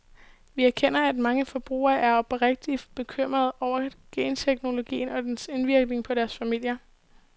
Vi erkender, at mange forbrugere er oprigtigt bekymrede over genteknologien og dens indvirkning på deres familier.